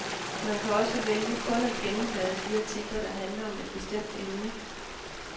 Man kan også vælge kun at gennemblade de artikler, der handler om et bestemt emne.